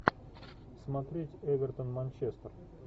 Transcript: смотреть эвертон манчестер